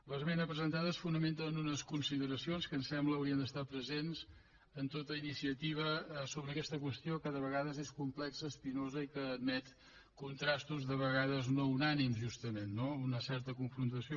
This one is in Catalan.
l’esmena presentada es fonamenta en unes consideracions que em sembla que haurien d’estar presents en tota iniciativa sobre aquesta qüestió que de vegades és complexa espinosa i que admet contrastos de vegades no unànimes justament no una certa confrontació